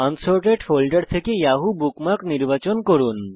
unsorted folder থেকে Yahoo bookmark নির্বাচন করুন